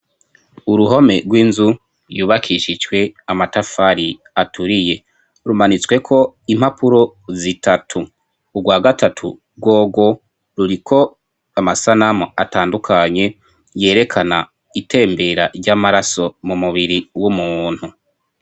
Uruhome rw'inzu yubakishijwe amatafari aturiye, rumanitswe ko impapuro zitatu ,urwa gatatu rworwo ruriko amasanamu atandukanye, yerekana itembera ry'amaraso mu mubiri w'umuntu.